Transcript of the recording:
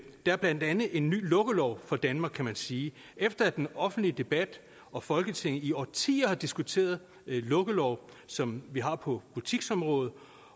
er blandt andet en ny lukkelov for danmark kan man sige efter at den offentlige debat og folketinget i årtier har diskuteret lukkelov som vi har på butiksområdet